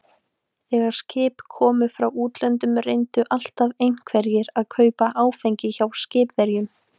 Þegar skip komu frá útlöndum reyndu alltaf einhverjir að kaupa áfengi hjá skipverjum.